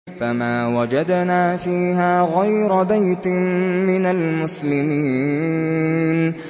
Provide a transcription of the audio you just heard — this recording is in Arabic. فَمَا وَجَدْنَا فِيهَا غَيْرَ بَيْتٍ مِّنَ الْمُسْلِمِينَ